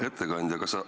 Hea ettekandja!